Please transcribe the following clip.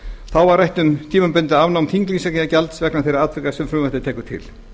þá var rætt um tímabundið afnám þinglýsingargjalds vegna þeirra atvika sem frumvarpið tekur til